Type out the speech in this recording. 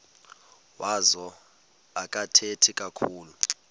wazo akathethi kakhulu